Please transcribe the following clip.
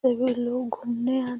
फिर भी लोग घूमने आ --